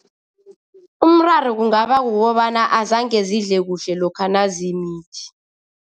Umraro kungaba kukobana azange zidle kuhle lokha nazimithi.